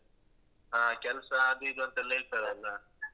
ಹಾ ಕೆಲ್ಸ ಅದು ಇದು ಅಂತೆಲ್ಲ ಇರ್ತದಲ್ಲ.